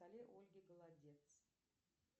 ольге голодец